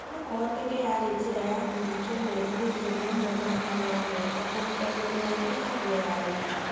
No kũhotekeke yarĩ njĩra ya kũhingia merirĩria amwe ma Kangogo ta kũhumba mwĩrĩ wake na nguo ya ũhiki.